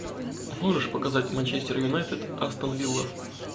можешь показать манчестер юнайтед астон вилла